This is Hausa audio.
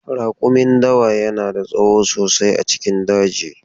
Rakumin dawa yana da tsawo sosai a cikin daji.